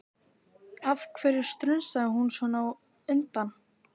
Af hverju strunsaði hún svona á undan?